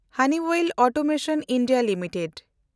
Honeywell automation India limited